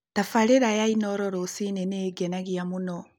Tabaarĩra ya Inooro rũcinĩ nĩ ingenagia mũno.